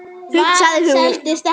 hugsaði hún.